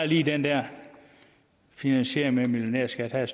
lige den der finansiering med millionærskat havde